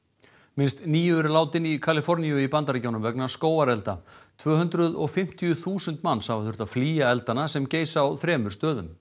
minnst níu eru látin í Kaliforníu í Bandaríkjunum vegna skógarelda tvö hundruð og fimmtíu þúsund manns hafa þurft að flýja eldana sem geisa á þremur stöðum